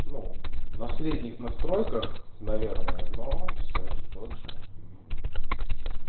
ну на средних настройках наверное но все же тот же